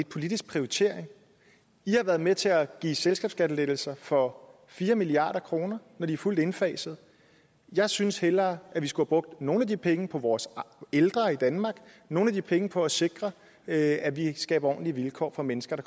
politisk prioritering i har været med til at give selskabsskattelettelser for fire milliard kr når det er fuldt indfaset jeg synes hellere at vi skulle have brugt nogle af de penge på vores ældre i danmark nogle af de penge på at sikre at at vi skaber ordentlige vilkår for mennesker på